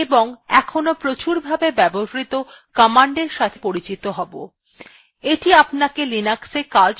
the আপনাকে linuxa কাজ শুরু করতে উত্সাহিত করবে